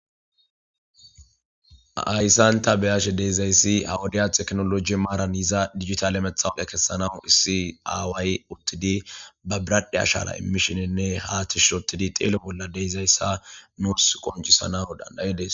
Haysan ta bea'she dizaysi maran tekinolojera dijitale matawuke kesanaw issi away uttidi dizaysa ba biradhdhe ashara imishenne ha tishi otidi xelo bolla dizaysa bei'she dizaysa nus qoncisanaw dandae's.